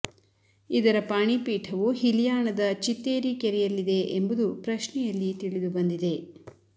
ಇದರ ಪಾಣಿಪೀಠವು ಹಿಲಿಯಾಣದ ಚಿತ್ತೇರಿ ಕೆರೆಯಲ್ಲಿದೆ ಎಂಬುದು ಪ್ರಶ್ನೆಯಲ್ಲಿ ತಿಳಿದು ಬಂದಿದೆ